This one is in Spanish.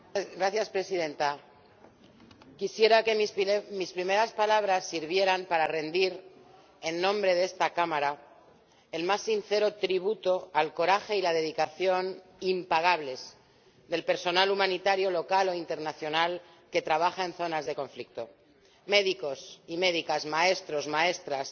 Señora Presidenta, quisiera que mis primeras palabras sirvieran para rendir, en nombre de esta Cámara, el más sincero tributo al coraje y la dedicación impagables del personal humanitario local o internacional que trabaja en zonas de conflicto médicos y médicas, maestros, maestras,